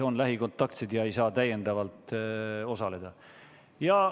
Nemad ei saa istungil osaleda.